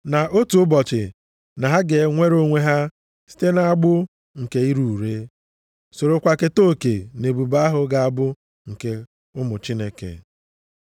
na otu ụbọchị na ha ga-enwere onwe ha site nʼagbụ nke ire ure, sorokwa keta oke nʼebube ahụ ga-abụ nke ụmụ Chineke.